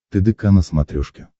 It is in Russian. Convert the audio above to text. тдк на смотрешке